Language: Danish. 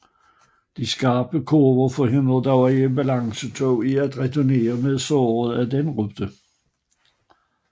De skarpe kurver forhindrede dog ambulancetog i at returnere med sårede ad denne rute